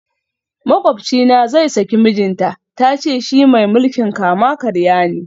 Makwabcina zai saki mijinta, ta ce shi mai mulkin kama karya ne